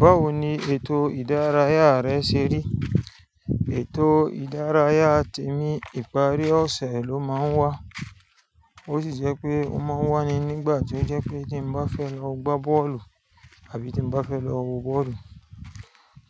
Báwo ni ètò ìdárayá rẹ ṣe rí? Ètò ìdárayá tèmi ìparí ọ̀sẹ̀ ló máa ń wà. Ó sì jẹ́ pé ó máa wà ní nígbà tó jẹ́ pé tí mo bá fẹ́ lọ gbá bọ́ọ̀lù àbí tí mo bá fẹ́ lọ wo bọ́ọ̀lù.